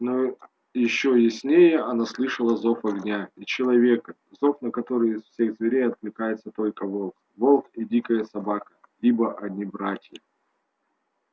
но ещё яснее она слышала зов огня и человека зов на который из всех зверей откликается только волк волк и дикая собака ибо они братья